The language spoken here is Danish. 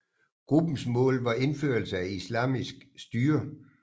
Gruppens mål var indførelse af islamisk styre